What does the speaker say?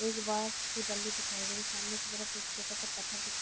एक बाँस की बल्ली दिखाई दे रही है। सामने एक बोहोत छोटा सा पत्थर दिखा --